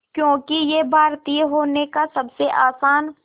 क्योंकि ये भारतीय होने का सबसे आसान